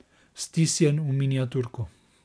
Stisnjen v miniaturko.